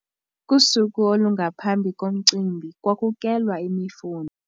Kusuku olungaphambi komcimbi kwakukelwa imifuno.